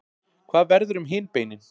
Hvað verður um hin beinin?